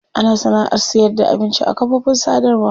Ana sana'ar sayarda abinci a kafofin sadarwa.